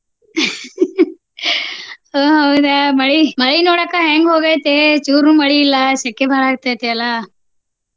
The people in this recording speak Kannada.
ಹೊ ಹೌದಾ ಮಳಿ. ಮಳಿ ನೋಡ ಅಕ್ಕ ಹೆಂಗ ಹೋಗೇತಿ ಚೂರು ಮಳಿ ಇಲ್ಲ ಸೆಕೆ ಬಾಳ ಆಗ್ತೆತಿ ಅಲ್ಲಾ?